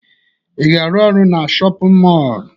Ị ga-arụ ọrụ na shọpịn mọọlụ?